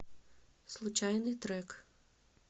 случайный трек